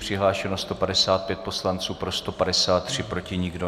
Přihlášeno 155 poslanců, pro 153, proti nikdo.